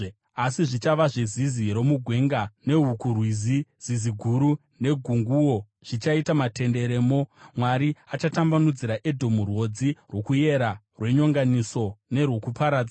Asi zvichava zvezizi romugwenga nehukurwizi; zizi guru negunguo zvichaita matenderemo. Mwari achatambanudzira Edhomu rwodzi rwokuyera, rwenyonganiso nerwokuparadza.